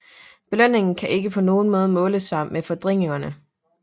Belønningen kan ikke på nogen måde måle sig med fordringerne